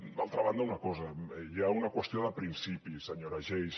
d’altra banda una cosa hi ha una qüestió de principis senyora geis